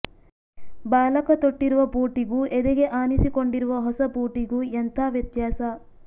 ಬಾಲಕ ತೊಟ್ಟಿರುವ ಬೂಟಿಗೂ ಎದೆಗೆ ಆನಿಸಿಕೊಂಡಿರುವ ಹೊಸ ಬೂಟಿಗೂ ಎಂಥ ವ್ಯತ್ಯಾಸ